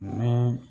Ni